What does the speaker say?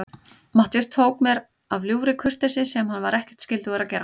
Matthías tók mér af ljúfri kurteisi, sem hann var ekkert skyldugur að gera.